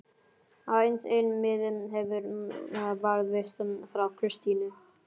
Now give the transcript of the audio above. Aðeins einn miði hefur varðveist frá Kristínu